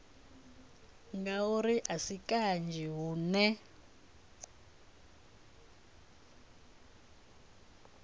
ngauri a si kanzhi hune